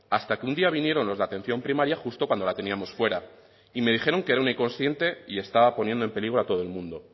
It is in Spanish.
hasta que un día vinieron los de atención primaria justo cuando la teníamos fuera y me dijeron que era un inconsciente y estaba poniendo en peligro a todo el mundo